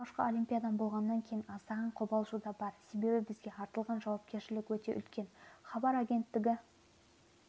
алғашқы олимпиадам болғаннан кейін аздаған қобалжу да бар себебі бізге артылған жауапкершілік өте үлкен хабар агенттігі